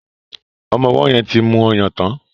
Omó owó yen tí mú ọyàn tán.